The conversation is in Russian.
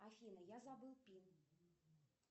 афина я забыл пин